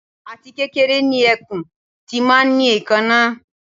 Àti kékeré ni ẹkùn ti máa ń ní èékáná